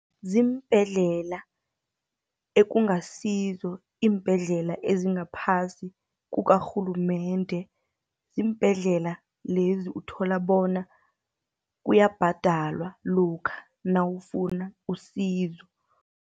Ziimbhedlela ekungasizo iimbhedlela ezingaphasi kukarhulumende, ziimbhedlela lezi uthola bona kuyabhadalwa lokha nawufuna usizo.